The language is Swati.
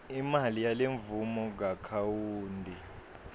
imali yalemvumo kuakhawunti